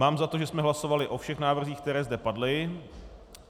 Mám za to, že jsme hlasovali o všech návrzích, které zde padly.